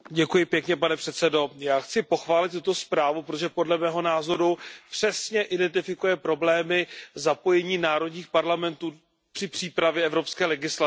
Pane předsedající, já chci pochválit tuto zprávu, protože podle mého názoru přesně identifikuje problémy zapojení národních parlamentů při přípravě evropské legislativy.